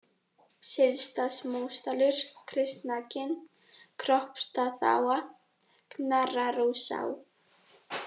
Syðstamósdalur, Kristnakinn, Kroppstaðaá, Knarrarósá